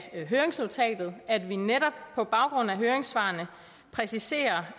af høringsnotatet at vi netop på baggrund af høringssvarene præciserer